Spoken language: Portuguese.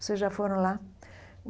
Vocês já foram lá?